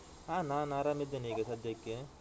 ಹ ನಾನ್ ಆರಾಮಿದ್ದೇನೆ ಈಗ ಸದ್ಯಕ್ಕೆ.